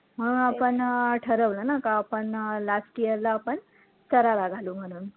म्हणून आपण अं ठरवलं ना का आपण last year ला आपण शरारा घालू म्हणून